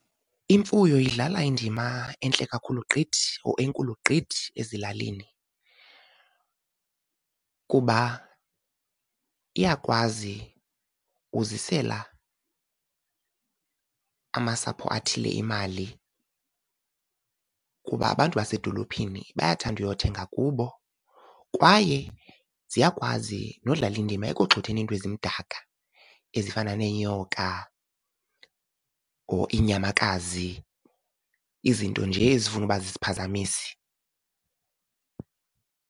Imfuyo idlala indima entle kakhulu gqithi, or enkulu gqithi ezilalini, kuba iyakwazi uzisela amasapho athile imali, kuba abantu basedolophini bayathanda uyothenga kubo. Kwaye ziyakwazi nodlala indima ekugxotheni iinto ezimdaka ezifana neenyoka or iinyamakazi, izinto nje ezifuna ukuba ziziphazamisi.